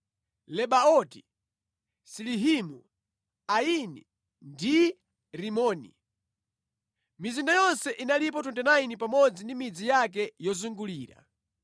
Lebaoti, Silihimu, Aini ndi Rimoni. Mizinda yonse inalipo 29 pamodzi ndi midzi yake yozungulira.